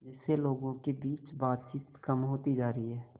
जिससे लोगों के बीच बातचीत कम होती जा रही है